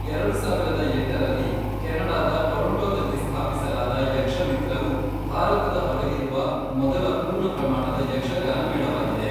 ಎರಡು ಸಾವಿರದ ಎಂಟರಲ್ಲಿ ಕೆನಡಾದ ಟೊರೊಂಟೊದಲ್ಲಿ ಸ್ಥಾಪಿಸಲಾದ ಯಕ್ಷಮಿತ್ರವು ಭಾರತದ ಹೊರಗಿರುವ ಮೊದಲ ಪೂರ್ಣ ಪ್ರಮಾಣದ ಯಕ್ಷಗಾನ ಮೇಳವಾಗಿದೆ.